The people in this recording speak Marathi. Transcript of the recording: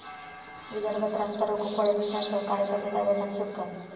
विदर्भात रास्ता रोको, फडणवीसांसह कार्यकर्ते ताब्यात आणि सुटका